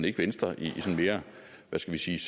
ikke venstre i hvad skal vi sige